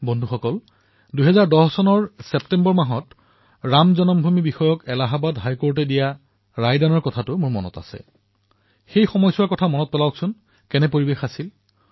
বন্ধুসকল মোৰ মনত আছে যে ২০১০ চনত যেতিয়া ছেপ্টেম্বৰ মাহত ৰাম জন্মভূমি সন্দৰ্ভত এলাহাবাদ উচ্চ ন্যায়ালনে ৰায়দান কৰিছিল সেইদিনবোৰৰ কথা মনত পেলাওক কেনে দিন আছিল সেয়া